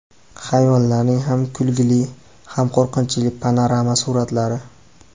Hayvonlarning ham kulgili, ham qo‘rqinchli panorama suratlari .